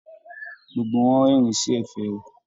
Gbogbo wọn rẹ́rín sí ẹ̀fẹ̀ rẹ.